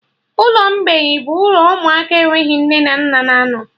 Ụlọ mgbei bụ ụlọ ụmụaka enweghị nne na nna na anọ